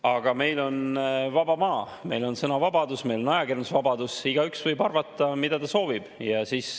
Aga meil on vaba maa, meil on sõnavabadus, meil on ajakirjandusvabadus, igaüks võib arvata, mida ta soovib.